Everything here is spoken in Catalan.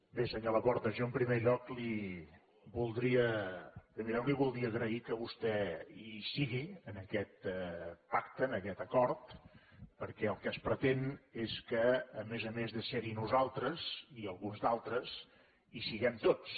bé senyor laporta jo en primer lloc li voldria agrair que vostè hi sigui en aquest pacte en aquest acord perquè el que es pretén és que a més a més de ser hi nosaltres i alguns altres hi siguem tots